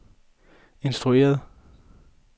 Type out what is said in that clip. instrueret